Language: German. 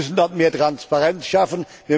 Dort müssen wir mehr Transparenz schaffen.